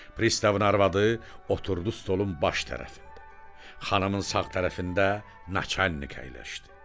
Pristavın arvadı oturdu stolun baş tərəfində, xanımın sağ tərəfində naçalnik əyləşdi.